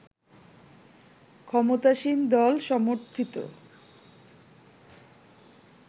ক্ষমতাসীন দল সমর্থিত